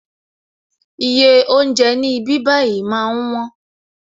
Iye oúnjẹ ní ibí bayi máa ń wón